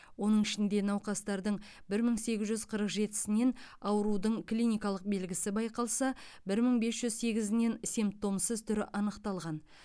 оның ішінде науқастардың бір мың сегіз жүз қырық жетісінен аурудың клиникалық белгісі байқалса бір мың бес жүз сегізінен симптомсыз түрі анықталған